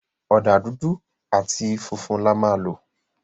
Ọ̀dà dúdú áti funfun là má lọ